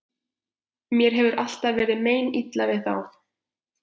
Mér hefur alltaf verið meinilla við þá.